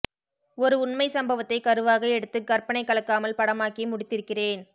ஒரு உண்மை சம்பவத்தை கருவாக எடுத்து கற்பனை கலக்காமல் படமாக்கி முடித்திருக்கிறேன்